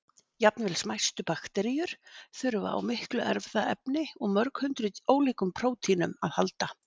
Jafnvel smæstu bakteríur þurfa á miklu erfðaefni og mörg hundruð ólíkum prótínum að halda.